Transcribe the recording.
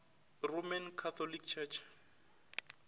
roman catholic church